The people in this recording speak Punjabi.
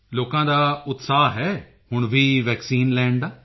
ਲੋਕਾਂ ਦਾ ਉਤਸ਼ਾਹ ਹੈ ਹੁਣ ਵੀ ਵੈਕਸੀਨ ਲੈਣ ਦਾ